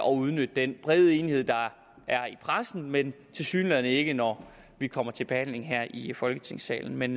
og udnytte den brede enighed der er i pressen men tilsyneladende ikke når vi kommer til behandlingen her i folketingssalen men